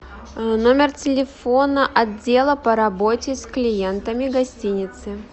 номер телефона отдела по работе с клиентами гостиницы